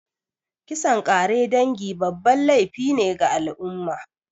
Kisan kare dangi babban laify ne ga al'umma